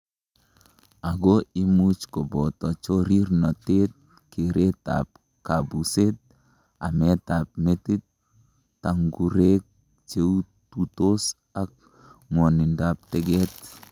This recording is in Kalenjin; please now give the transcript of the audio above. Ako imuch koboto chorirnotet, keretab kabuset, ametab metit, tang'urek cheututos ak ng'wonindab teket.